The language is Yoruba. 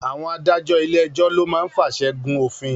Àwọn adájọ́ ilé ẹjọ́ lo máa ń fàṣẹ gùn òfin